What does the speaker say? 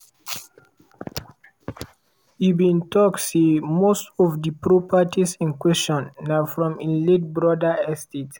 e bin tok say most of di properties in question na from im late brother estate.